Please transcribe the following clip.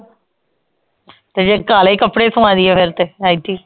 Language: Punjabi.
ਤੇ ਜੇ ਕਾਲੇ ਕਪੜੇ ਸਵਾਦੀਏ ਫੇਰ ਤੇ ਐਤਕੀ